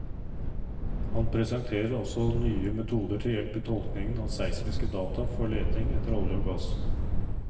Han presenterer også nye metoder til hjelp i tolkningen av seismiske data for leting etter olje og gass.